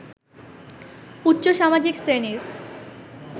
উচ্চ সামাজিক শ্রেণীর